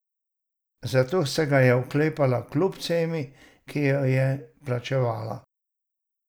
Zato se ga je oklepala kljub ceni, ki jo je plačevala.